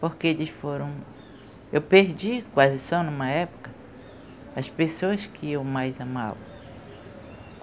Porque eles foram... Eu perdi, quase só numa época, as pessoas que eu mais amava.